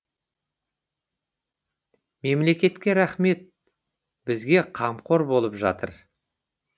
мемлекетке рахмет бізге қамқор болып жатыр